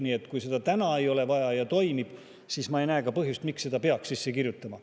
Nii et kui seda praegu ei ole vaja ja asi toimib, siis ma ei näe ka põhjust, miks selle peaks siia sisse kirjutama.